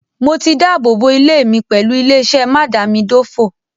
Mo ti dábòbò ilé mi pẹ̀lú ilé-iṣẹ́ mádàámidófò.